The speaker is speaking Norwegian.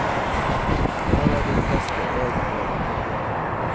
I dag har de fleste egen jobb.